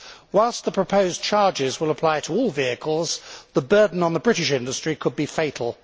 Whilst the proposed charges will apply to all vehicles, the burden on the British industry could be fatal.